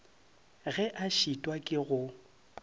ge a šitwa ke go